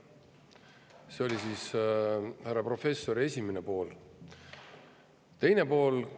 See oli härra professori esimene pool.